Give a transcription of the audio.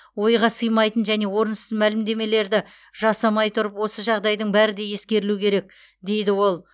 ойға сыймайтын және орынсыз мәлімдемелерді жасамай тұрып осы жағдайдың бәрі де ескерілуі керек дейді ол